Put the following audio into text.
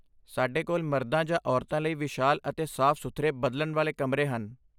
ਸਾਡੇ ਕੋਲ ਮਰਦਾਂ ਜਾਂ ਔਰਤਾਂ ਲਈ ਵਿਸ਼ਾਲ ਅਤੇ ਸਾਫ਼ ਸੁਥਰੇ ਬਦਲਣ ਵਾਲੇ ਕਮਰੇ ਹਨ